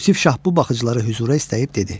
Yusif şah bu baxıcılara hüzura istəyib dedi: